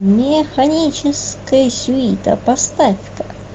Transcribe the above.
механическая сюита поставь ка